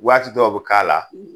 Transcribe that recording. Waati dɔw be k'a la